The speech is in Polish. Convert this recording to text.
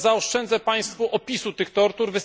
Zaoszczędzę Państwu opisu tych tortur.